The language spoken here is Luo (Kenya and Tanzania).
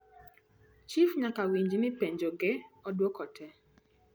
chif nyaka winj ni penjo ge oduok tee